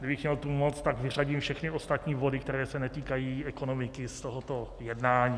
Kdybych měl tu moc, tak vyřadím všechny ostatní body, které se netýkají ekonomiky, z tohoto jednání.